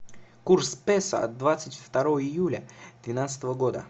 курс песо от двадцать второго июля двенадцатого года